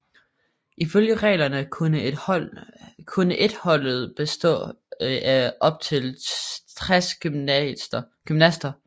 Ifølge reglerne kunne et holdet bestå af op til 60 gymnaster